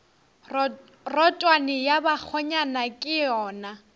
rotwane ya bakgonyana ke yona